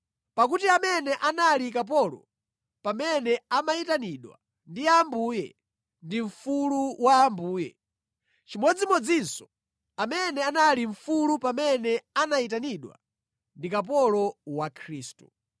Pakuti amene anali kapolo pamene amayitanidwa ndi Ambuye, ndi mfulu wa Ambuye; chimodzimodzinso amene anali mfulu pamene anayitanidwa, ndi kapolo wa Khristu.